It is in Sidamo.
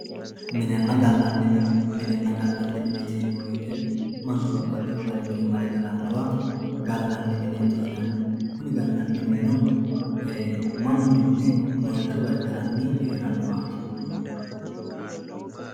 MnIena galani mine minena galani mine yineemowoyite mannu babaxewowa mare galanowa mineeti yinani kuni galani minino mannu mine moyicho gargarani heranowaati.